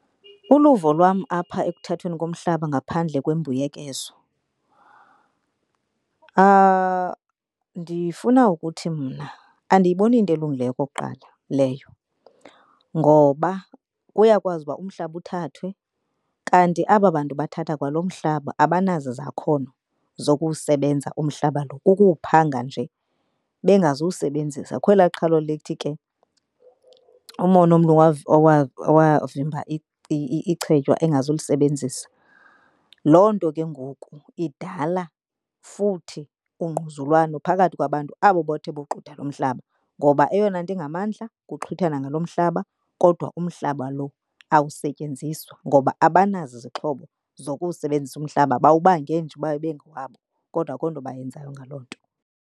Uluvo lwam apha ekuthathweni komhlaba ngaphandle kwembuyekezo, ndifuna ukuthi mna andiyiboni iyinto elungileyo okokuqala leyo. Ngoba kuyakwazi uba umhlaba uthathwe kanti aba bantu bathatha kwaloo mhlaba abanazo izakhono zokuwusebenza umhlaba lo, kukuwuphanga nje bengazuwusebenzisa. Kukho elaa qhalo lithi ke umona womlungu owavimba ichetywa engazulisebenzisa. Loo nto ke ngoku idala futhi ungquzulwano phakathi kwabantu abo bathe boxutha lo mhlaba. Ngoba eyona nto ingamandla kukuxhwithana ngalo mhlaba, kodwa umhlaba lo awusetyenziswa ngoba abanazo izixhobo zokuwusebenzisa umhlaba. Bawubange nje uba ibe ngowabo kodwa akho nto bayenzayo ngaloo nto.